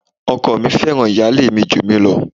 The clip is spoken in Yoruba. Ọkọ mi fẹ́ràn ìyálé mi jù mí lọ.